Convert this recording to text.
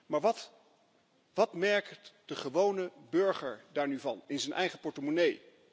Maar wat merkt de gewone burger daar nu van in zijn eigen portemonnee?